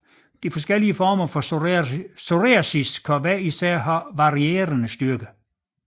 De forskellige former for psoriasis kan hver især have varierende styrke